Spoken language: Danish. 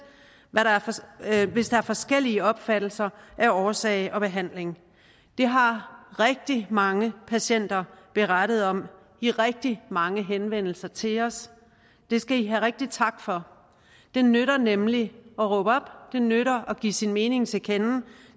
hvis der er forskellige opfattelser af årsag og behandling det har rigtig mange patienter berettet om i rigtig mange henvendelser til os det skal i have rigtig tak for det nytter nemlig at råbe op det nytter at give sin mening til kende og